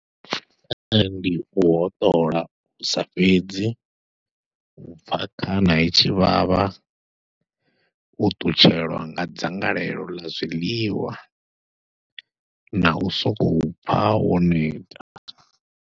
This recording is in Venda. Ee ndi u hoṱola hu sa fhedzi, u pfha khana i tshi vhavha, u ṱutshelwa nga dzangalelo ḽa zwiḽiwa, nau sokou pfha wo neta.